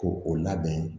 Ko o labɛn